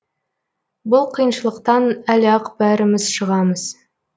бұл қиыншылықтан әлі ақ бәріміз шығамыз